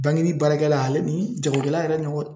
Bankeni baarakɛla , ale ni jagokɛla yɛrɛ ni ɲɔgɔn